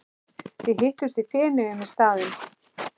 Við hittumst í Feneyjum í staðinn.